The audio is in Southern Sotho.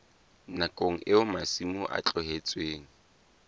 nakong eo masimo a tlohetsweng